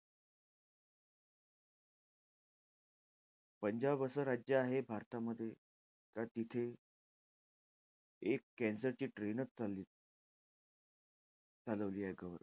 पंजाब असं राज्य आहे भारतामध्ये, त्या तिथे एक cancer ची train च चालली आहे. चालवली आहे,